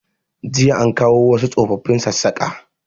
Jiya an kawo wasu tsofafin Sassaƙa